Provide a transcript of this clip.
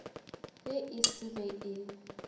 ge e se ge e